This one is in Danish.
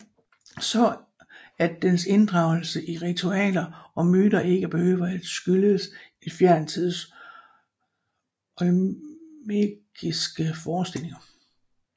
Så at dens inddragelse i ritualer og myter ikke behøver at skyldes en fjern tids olmekiske forestillinger